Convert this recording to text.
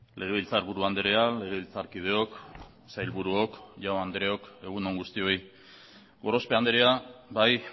legebiltzarburu andrea legebiltzarkideok sailburuok jaun andreok egun on guztioi gorospe andrea bai